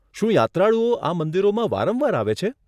શું યાત્રાળુઓ આ મંદિરોમાં વારંવાર આવે છે?